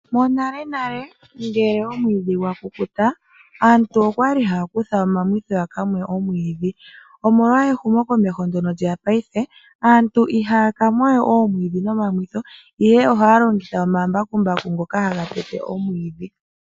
Monale nale ngele omwiidhi gwa kukuta aantu okwali haya kutha omamwitho yaka mwe omwiidhi omolwa ehumo komeho ndyono lyeya paife aantu ihaya ka mwawe omwidhi noma mwitho ihe ohaya longitha omambakumbaku ngoka haga tete omwiidhi.